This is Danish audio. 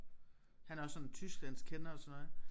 Han er også sådan tysklandskender og sådan noget